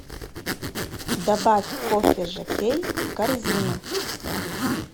добавь кофе жоккей в корзину